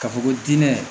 Ka fɔ ko dinɛ